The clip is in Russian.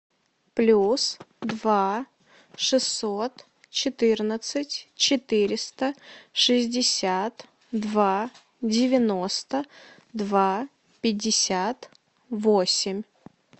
плюс два шестьсот четырнадцать четыреста шестьдесят два девяносто два пятьдесят восемь